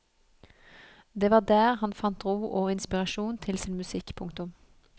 Det var der han fant ro og inspirasjon til sin musikk. punktum